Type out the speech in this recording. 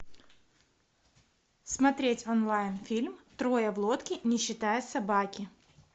смотреть онлайн фильм трое в лодке не считая собаки